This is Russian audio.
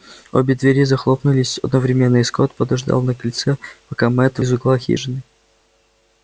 обе двери захлопнулись одновременно и скотт подождал на крыльце пока мэтт из угла хижины